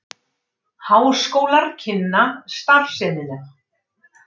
Háskólar kynna starfsemina